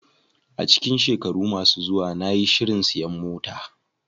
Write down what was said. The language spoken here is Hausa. A cikin shekaru masu zuwa, na yi shirin siyan mota.